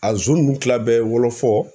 A ninnu kila bɛɛ ye wɔlɔfɔ.